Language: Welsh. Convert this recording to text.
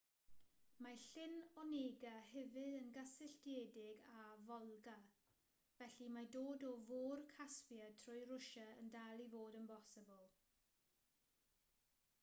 mae llyn onega hefyd yn gysylltiedig â volga felly mae dod o fôr caspia trwy rwsia yn dal i fod yn bosibl